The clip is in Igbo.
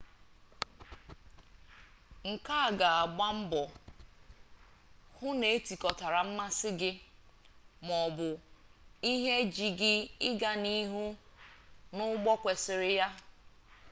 nkea ga agbambo hu n’etikotara mmasi gi na/ma o bu ihe ji gi iga na ihu n’ugbo kwesiri ha